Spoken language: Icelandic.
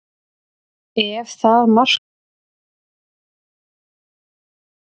Ef það markmið heppnast, hvað er þá fram undan?